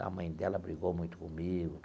A mãe dela brigou muito comigo.